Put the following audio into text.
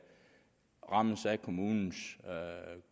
rammes af kommunens